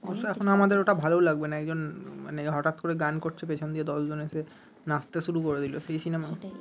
অবশ্য এখন আমাদের ওটা ভাল লাগবে না একজন হটাৎ করে গান করছে পিছন দিয়ে দশজন এসে নাচতে শুরু করে দিল সেই সিনেমা